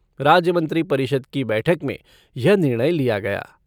राज्य मंत्री परिषद की बैठक में यह निर्णय लिया गया।